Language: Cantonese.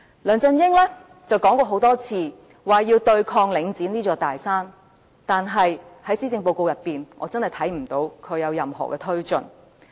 梁振英說過很多次要對抗領展這座大山，但是，在施政報告中，我真的看不到他有任何措施。